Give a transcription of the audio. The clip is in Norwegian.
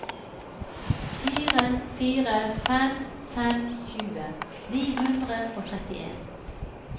fire fire fem fem tjue ni hundre og trettien